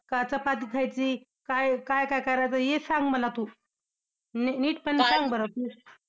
का चपाती खायची? काय काय करायचं, हे सांग मला तू. नीट पणे सांग बरं तू.